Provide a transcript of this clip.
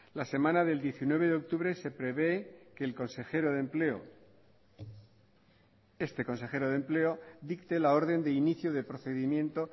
la semana del diecinueve de octubre se prevé que el consejero de empleo este consejero de empleo dicte la orden de inicio de procedimiento